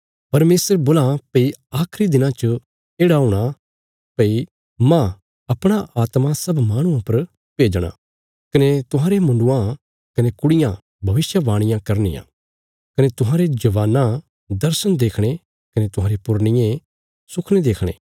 परमेशर बोलां भई आखिरी दिना च येढ़ा हूणा भई मांह अपणा आत्मा सब माहणुआं पर भेजणा कने तुहांरे मुण्डुआं कने कुड़ियां भविष्यवाणियां करनियां कने तुहांरे जवानां दर्शण देखणे कने तुहांरे पुरनिये सुखने देखणे